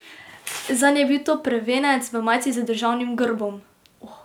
Zanj je bil to prvenec v majici z državnim grbom.